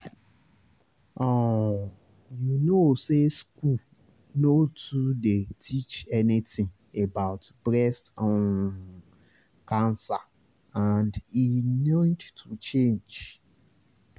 um you know say school nor too dey teach anything about breast um cancer and e need to change